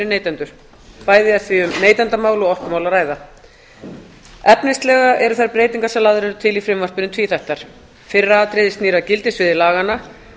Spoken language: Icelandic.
neytendur bæði þegar um neytendamál og orkumál er að ræða efnislega eru þær breytingar sem lagðar eru til í frumvarpinu tvíþættar fyrra atriðið snýr að gildissviði laganna